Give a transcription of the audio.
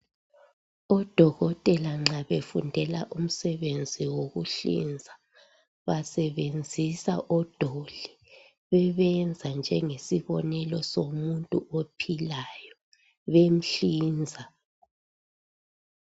Odokothela nxa befundela umsebenzi wokuhlinza basebenzisa odoli .Bebenza njengesibonelo somuntu ophilayo ,bemhlinza.